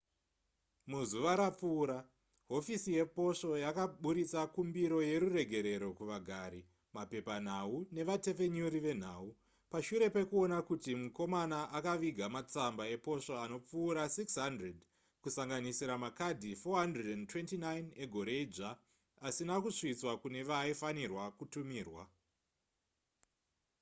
muzuva rapfuura hofisi yeposvo yakaburitsa kumbiro yeruregerero kuvagari mapepanhau nevatepfenyuri venhau pashure pekuona kuti mukomana akaviga matsamba eposvo anopfuura 600 kusanganisira makadhi 429 egore idzva asina kusvitswa kune vaaifanirwa kutumirwa